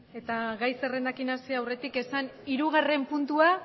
eta gai zerrendarekin hasi aurretik esan hirugarren puntua